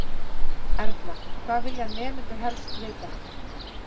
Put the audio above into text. Erla: Hvað vilja nemendur helst vita?